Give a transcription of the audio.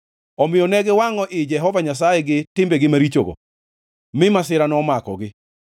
omiyo ne giwangʼo i Jehova Nyasaye gi timbegi marichogo, mi masira nomakogi.